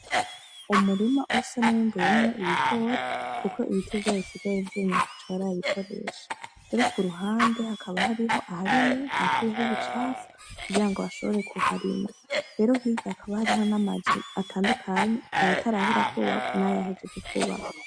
Umurima usa nuwimbuwemwo ibigori kuko ibiti vyayo bisigaye vyumye ataco barabikoresha, rero kuruhande hakaba hariho aharimye bakuyeho ibicafu kugira ngo bashobore kuharima, rero hirya hakaba hariho amazu atandukanye, ayatarahera kwubakwa n'ayahejeje kwubakwa.